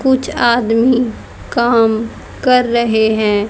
कुछ आदमी काम कर रहे हैं।